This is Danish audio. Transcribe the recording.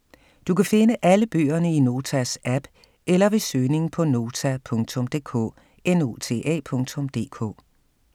Du kan finde alle bøgerne i Notas app eller ved søgning på Nota.dk